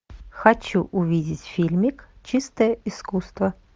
хочу увидеть фильмик чистое искусство